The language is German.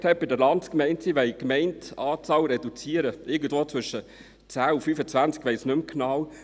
Dort hat die Politik an der Landsgemeinde vorgestellt, sie wolle die Gemeindeanzahl reduzieren, irgendwo zwischen 10 und 25.